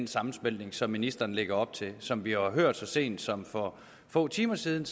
sammensmeltning som ministeren lægger op til som vi har hørt så sent som for få timer siden